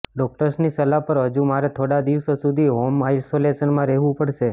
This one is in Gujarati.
ડોક્ટર્સની સલાહ પર હજુ મારે થોડા દિવસો સુધી હોમ આઈસોલેશનમાં રહેવુ પડશે